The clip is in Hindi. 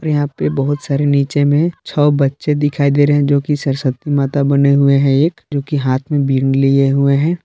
यहां पे बहुत सारे नीचे में छह बच्चे दिखाई दे रहे हैं जो कि सरस्वती माता बने हुए हैं एक जो कि हाथ में बीन लिए हुए हैं।